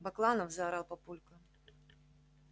бакланов заорал папулька